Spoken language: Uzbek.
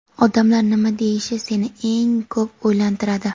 odamlar nima deyishi seni eng ko‘p o‘ylantiradi.